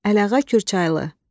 Əliağa Kürçaylı.